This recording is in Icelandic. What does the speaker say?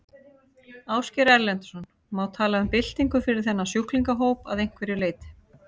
Ásgeir Erlendsson: Má tala um byltingu fyrir þennan sjúklingahóp að einhverju leyti?